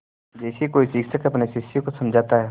जैसे कोई शिक्षक अपने शिष्य को समझाता है